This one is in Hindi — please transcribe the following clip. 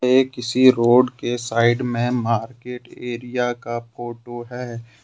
ये किसी रोड के साइड में मार्केट एरिया का फोटो है।